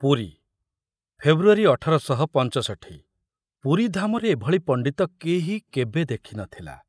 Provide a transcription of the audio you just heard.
Puri February Puri ଧାମରେ ଏ ଭଳି ପଣ୍ଡିତ କେହି କେବେ ଦେଖି ନଥିଲା।